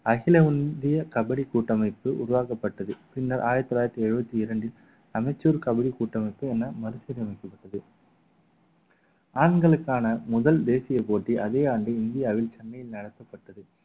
அகில இந்திய கபடி கூட்டமைப்பு உருவாக்கப்பட்டது பின்னர் ஆயிரத்தி தொள்ளாயிரத்தி எழுபத்தி இரண்டில் அமைச்சர் கபடி கூட்டமைப்பு என மறுசீரமைக்கப்பட்டது ஆண்களுக்கான முதல் தேசிய போட்டி அதே ஆண்டு இந்தியாவில் சென்னையில் நடத்தப்பட்டது